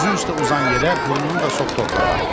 Üzü üstə uzan yerə burnunu da sox torpağa.